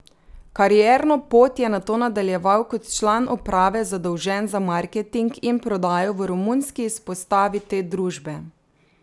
Karierno pot je nato nadaljeval kot član uprave zadolžen za marketing in prodajo v romunski izpostavi te družbe.